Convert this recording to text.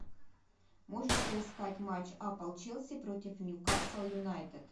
можешь поискать матч апл челси против ньюкасл юнайтед